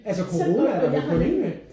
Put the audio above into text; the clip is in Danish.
Altså corona er der vel kun en af?